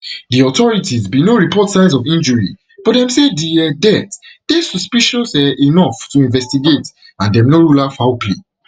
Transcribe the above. di authorities bin no report signs of injury but dem say di um death dey suspicious um enough to investigate and dem no rule out foul play